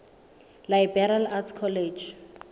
liberal arts college